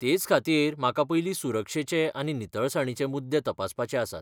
तेचखातीर, म्हाका पयलीं सुरक्षेचे आनी नितळसाणीचे मुद्दे तपासपाचे आसात.